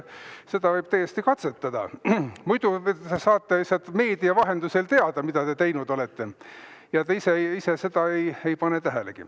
Seda võib täiesti katsetada, muidu saate lihtsalt meedia vahendusel teada, mida te teinud olete, aga te ise pole seda tähelegi pannud.